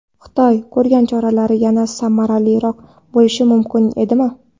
Xitoy ko‘rgan choralar yanada samaraliroq bo‘lishi mumkin edimi?